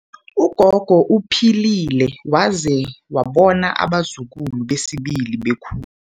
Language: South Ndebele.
Ugogo uphilile waze wabona abazukulu besibili bekhu